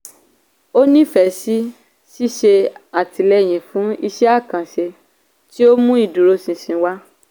ó nífẹ̀ẹ́ sí ṣíṣe àtìlẹyìn fún isẹ́ àkànṣe tí ó mú ìdúró ṣinṣin wá.